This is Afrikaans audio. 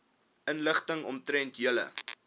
inligting omtrent julle